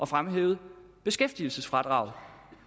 fremhævet beskæftigelsesfradraget